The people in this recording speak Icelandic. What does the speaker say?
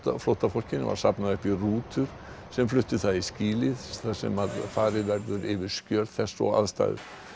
flóttafólkinu var safnað upp í rútur sem fluttu það í skýli þar sem farið verður yfir skjöl þess og aðstæður